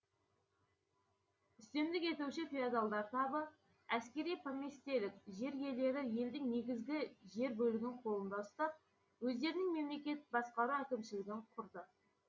үстемдік етуші феодалдар табы әскери поместьелік жер иелері елдің негізгі жер бөлігін қолында ұстап өздерінің мемлекеттік басқару әкімшілігін құрды